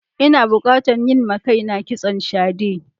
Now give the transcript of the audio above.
Ina bukatan yin ma kaina kitson shade.